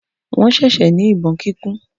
Wọ́n ṣẹ̀ṣẹ̀ ní ìbọn kíkún.